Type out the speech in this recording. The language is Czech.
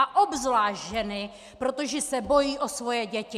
A obzvlášť ženy, protože se bojí o svoje děti.